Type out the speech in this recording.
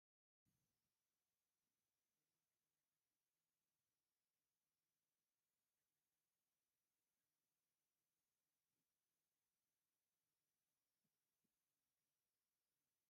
እዚ ካብ ናይ ኣፍሪካ ብሔረሰባት ሓደ ዝኾነ ሰብ ዳርጋ ዕርቃኑ እኒሀ፡፡ እዚ ሰብ ብኸምዚ ክርአ ዝኸኣለ ክዳን ስለዝሰኣነ ዶ ይመስለኩም?